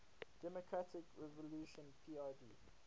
democratic revolution prd